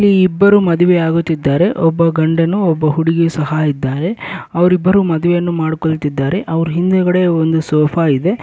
ಇಲ್ಲಿ ಇಬ್ಬರು ಮದುವೆ ಆಗುತ್ತಿದ್ದಾರೆ ಒಬ್ಬ ಗಂಡನು ಒಬ್ಬ ಹುಡುಗಿಯು ಸಹ ಇದ್ದಾರೆ ಅವ್ರ ಇಬ್ಬರು ಮದುವೆಯನ್ನು ಮಾಡ್ಕೊಳ್ತಿದ್ದಾರೆ ಅವ್ರ್ ಹಿಂದಗಡೆ ಒಂದು ಸೋಫಾ ಇದೆ.